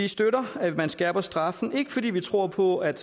vi støtter at man skærper straffen ikke fordi vi tror på at